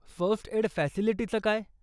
First aid फॅसिलिटीचं काय?